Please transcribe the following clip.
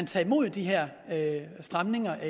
taget mod de her stramninger